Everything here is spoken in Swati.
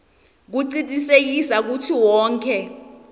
kucinisekisa kutsi wonkhe